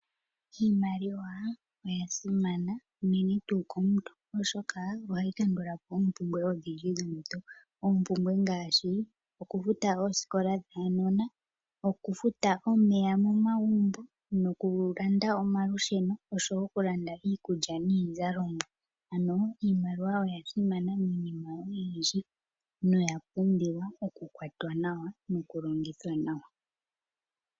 Oshimaliwa osha simana unene tuu komuntu oshoka ohayi kandulapo oompumbwe dhomuntu. Oompumbwe ngaashi oku futa oosikola dhaanona, oku futa omeya momagumbo noku landa omalusheno noshowo oku landa omaukulya niizalomwa. Ano, iimaliwa oya simana miinima oyindji noya pumbiwa oku kwatwa nawa noku longithwa nawa.